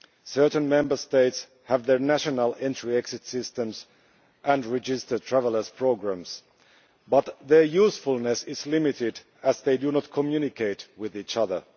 Certain Member States have their national entry exit systems and registered travellers' programmes, but their usefulness is limited as they do not communicate with each other.